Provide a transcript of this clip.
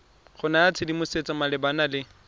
go naya tshedimosetso malebana le